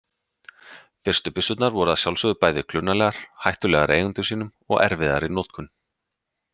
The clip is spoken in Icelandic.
Fyrstu byssurnar voru að sjálfsögðu bæði klunnalegar, hættulegar eigendum sínum og erfiðar í notkun.